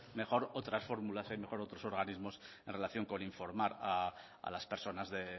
mejor otras fórmulas hay mejor otros organismos en relación con informar a las personas de